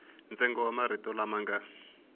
ntsengo wa marito lama nga